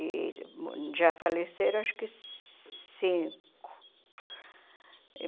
E já faleceram acho que cinco.